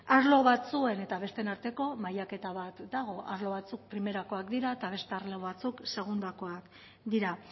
arlo batzuen eta besteen arteko mailaketa bat dago arlo batzuk primerakoak dira eta beste arlo batzuk segundakoak dira